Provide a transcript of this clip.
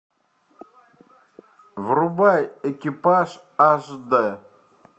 врубай экипаж аш д